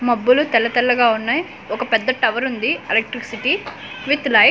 మొబ్బులు తెల్ల తెల్లగా ఉన్నాయి ఒక పెద్ద టవర్ ఉంది ఎలక్ట్రిసిటీ విత్ లైట్స్ .